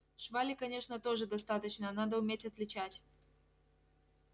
швали конечно тоже достаточно надо уметь отличать